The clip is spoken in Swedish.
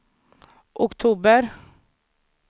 oktober